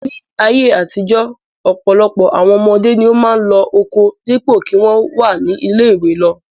Ní ayé àtijọ́ ọ̀pọ̀lọpọ̀ àwọn ọmọdé ni ó máa ń lọ oko dípò kí wọ́n wà ní ilé-ìwé lọ.